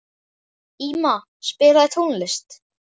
Íma, spilaðu tónlist.